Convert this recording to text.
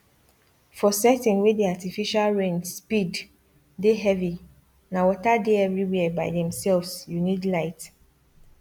for setting wey the artificial rain speed dey heavyna water dey everywhere by themselvesyou need light